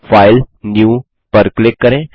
file new पर click करें